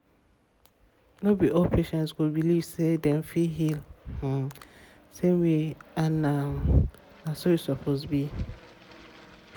no be all patient go believe say dem fit heal um same way and na um so e suppose be. um